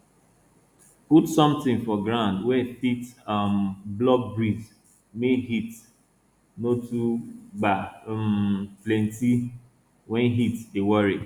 put sometin for ground wey fit um block breeze make heat no too gba um plant wey heat dey worry